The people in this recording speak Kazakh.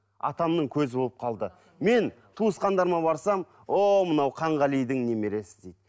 атамның көзі болып қалды мен туысқандарыма барсам о мынау қанғалидің немересі дейді